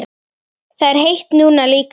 Það er heitt núna líka.